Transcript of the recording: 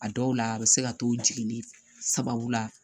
A dɔw la a bɛ se ka to jigini sababu la